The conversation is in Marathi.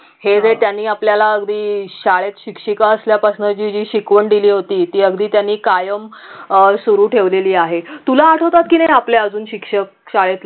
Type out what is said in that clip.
हे जे त्यांनी आपल्याला अगदी शाळेत शिक्षिका असल्या पासन जी जी शिकवण दिली होती ती अगदी त्यांनी कायम अं सुरु ठेवलेली आहे तुला आठवतात की नाही आपल्या अजून शिक्षक शाळेतले